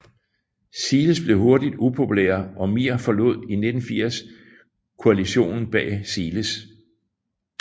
Siles blev hurtigt upopulær og MIR forlod i 1984 koalitionen bag Siles